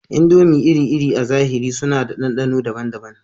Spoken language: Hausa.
Indomie iri-iri a zahiri suna da ɗanɗano daban-daban